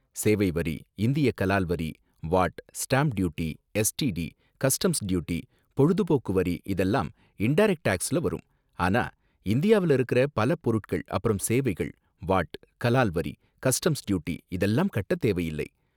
சேவை வரி, இந்திய கலால் வரி, VAT, stamp duty, STD, customs duty, பொழுதுபோக்கு வரி இதெல்லாம் இன்டரக்ட் டேக்ஸ்ல வரும், ஆனா இந்தியாவுல இருக்குற பல பொருட்கள் அப்பறம் சேவைகள் வாட், கலால் வரி, கஸ்டம்ஸ் டியூட்டி இதெல்லாம் கட்ட தேவையில்ல.